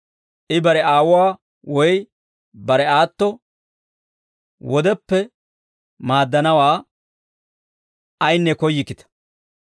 I bare aawuwaa woy bare aatto wodeppe maaddanawaa ayinne koyyikkita.